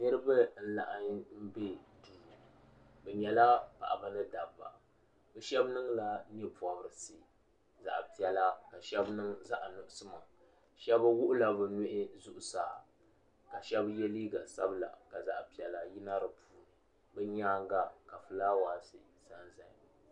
niraba n laɣam kpɛ bi nyɛla paɣaba mini dabba shab niŋla nyɛ pobirisi zaɣ piɛla ka shab niŋ zaɣ nuɣso shab wuhula bi nuhi zuɣusaa ka shab yɛ liiga sabila ka zaɣ piɛla gabi di puuni bi nyaanga ka fulaawaasi biɛni